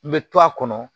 N bɛ to a kɔnɔ